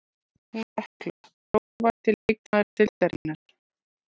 Hún Hekla Grófasti leikmaður deildarinnar?